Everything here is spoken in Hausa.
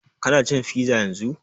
Ka na cin fiza yanzun?